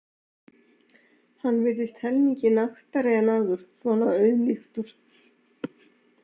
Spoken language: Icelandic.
Hann virðist helmingi naktari en áður, svona auðmýktur.